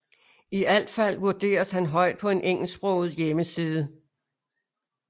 I alt fald vurderes han højt på en engelsksproget hjemmeside